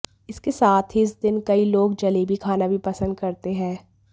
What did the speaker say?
इसके साथ ही इस दिन कई लोग जलेबी खाना भी पसंद करते हैं